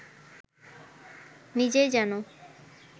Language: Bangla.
নিজেই যেন